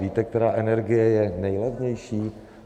Víte, která energie je nejlevnější?